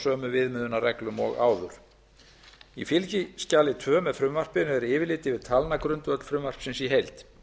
sömu viðmiðunarreglum og áður í fylgiskjali tvö með frumvarpinu er yfirlit yfir talnagrundvöll frumvarpsins í heild